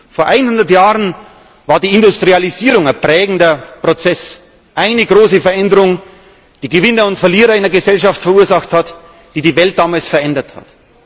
Vor 100 Jahren war die Industrialisierung ein prägender Prozess, eine große Veränderung, die Gewinner und Verlierer in der Gesellschaft verursacht hat, die die Welt damals verändert hat.